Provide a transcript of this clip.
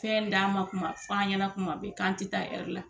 Fɛn d'an ma kuma f'an ɲana kuma bɛɛ k'an tɛ taa la.